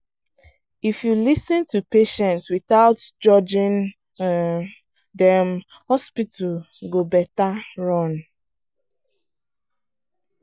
if you lis ten to patient without judging um dem hospital go better run.